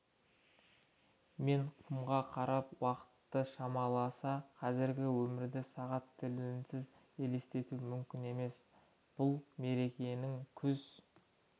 мен құмға қарап уақытты шамаласа қазіргі өмірді сағат тілінсіз елестету мүмкін емес бұл мерекенің күз